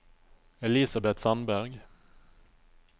Elisabet Sandberg